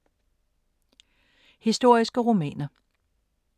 Historiske romaner